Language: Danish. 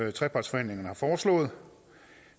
i trepartsforhandlingerne